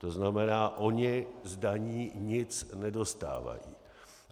To znamená, ony z daní nic nedostávají.